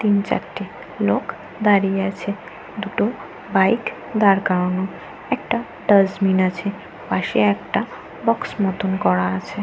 তিন চারটে লোক দাঁড়িয়ে আছে। দুটো বাইক দাঁড়ানো করানো। একটা ডাস্টবিন আছে। পাশে একটা বক্স মতন করা আছে।